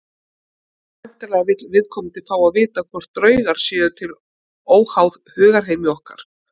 Væntanlega vill viðkomandi fá að vita hvort draugar séu til óháð hugarheimi okkar.